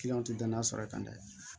tɛ danaya sɔrɔ i kan dɛ